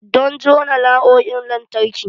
Don jona na'urorin lantarki.